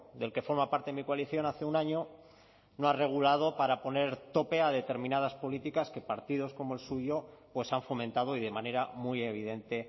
del que forma parte mi coalición hace un año no ha regulado para poner tope a determinadas políticas que partidos como el suyo pues han fomentado y de manera muy evidente